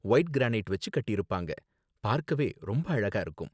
white granite வச்சி கட்டிருப்பாங்க, பார்க்கவே ரொம்ப அழகா இருக்கும்